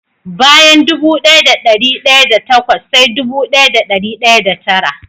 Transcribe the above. Bayan dubu daya da dari daya da takwas sai dubu daya da dari daya da tara.